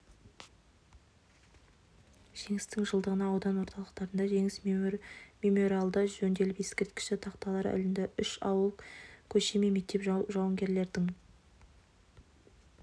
жеңістің жылдығына аудан орталықтарында жеңіс мемориалдары жөнделіп ескерткіш тақталар ілінді үш ауыл көше мен мектеп жауынгерлердің